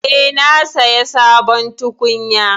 Eh, na saya sabon tukunya.